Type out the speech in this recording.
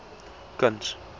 kuns